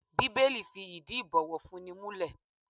Bíbélì fi ìdí ibowofunni múlẹ̀.